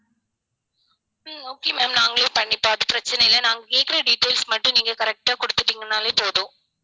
ஹம் okay ma'am நாங்களே பண்ணிப் பார்த்து பிரச்சனை இல்லை நாங்க கேட்கிற details மட்டும் நீங்க correct ஆ கொடுத்துட்டீங்கன்னாலே போதும்